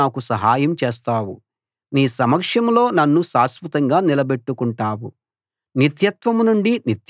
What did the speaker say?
అప్పుడు నేనంటే నీకు ఇష్టమని నాకు తెలుస్తుంది నా శత్రువు నాపై విజయం సాధించలేడు